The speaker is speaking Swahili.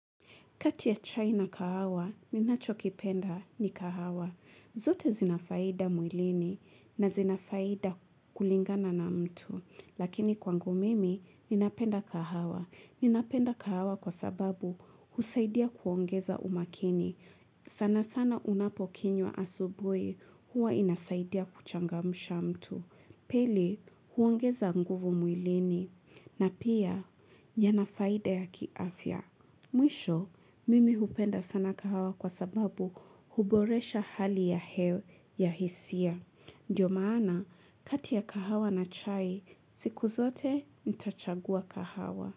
Kati ya chai na kahawa, ninachokipenda ni kahawa. Zote zina faida mwilini na zina faida kulingana na mtu. Lakini kwangu mimi, ninapenda kahawa. Ninapenda kahawa kwa sababu husaidia kuongeza umakini. Sana sana unapokinywa asubuhi huwa inasaidia kuchangamsha mtu. Pili huongeza nguvu mwilini na pia yana faida ya kiafya. Mwisho, mimi hupenda sana kahawa kwa sababu huboresha hali ya hewa ya hisia. Ndiyo maana, kati ya kahawa na chai, siku zote ntachagua kahawa.